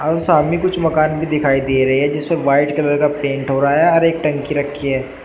और सामने कुछ मकान भी दिखाई दे रहे है जिसमें व्हाइट कलर का पेंट हो रहा है और एक टंकी रखी है।